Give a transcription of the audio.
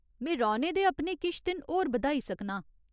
में रौह्‌ने दे अपने किश दिन होर बधाई सकनां।